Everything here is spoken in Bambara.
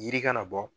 Yiri kana bɔ